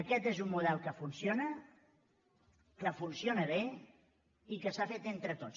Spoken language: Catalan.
aquest és un model que funciona que funciona bé i que s’ha fet entre tots